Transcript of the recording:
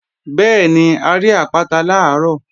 Bẹ́ẹ̀ni, a rí àpáta làárọ̀